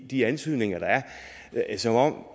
de antydninger der er som om